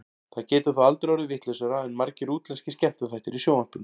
Það getur þó aldrei orðið vitlausara en margir útlenskir skemmtiþættir í sjónvarpinu.